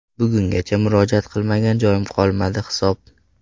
Bugungacha murojaat qilmagan joyim qolmadi hisob.